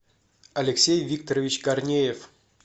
алексей викторович корнеев